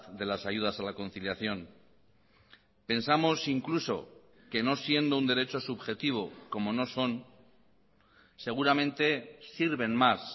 de las ayudas a la conciliación pensamos incluso que no siendo un derecho subjetivo como no son seguramente sirven más